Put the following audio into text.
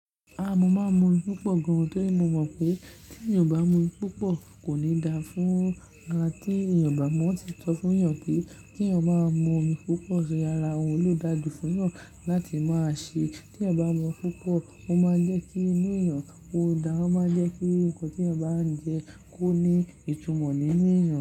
Aah! Mo máa ń mu omi púpọ̀ gan-an nítorí mo mọ̀ pé tí èèyàn bá mu omi púpọ̀ kò ní dáa fún ara. Tí èèyàn bá mu, wọ́n ti sọ fún èèyàn pé tí èèyàn bá máa mu omi púpọ̀ ṣe ara òun ló dáa jù fún èèyàn láti máa ṣe. Tí èèyàn bá mu omi púpọ̀, ó máa ń jẹ́ kí inú èèyàn ó dáa, ó máa ń jẹ́ kí nnkan tí èèyàn bá ń jẹ kó ní ìtumọ̀ nínú èèyàn.